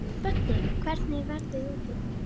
Böddi, hvernig er veðrið úti?